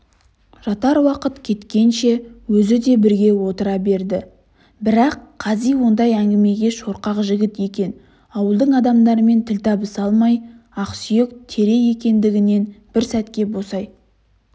жатар уақыт жеткенше өзі де бірге отыра берді бірақ қази ондай әңгімеге шорқақ жігіт екен ауыл адамдарымен тіл табыса алмай ақсүйек тере екендігінен бір сәтке босай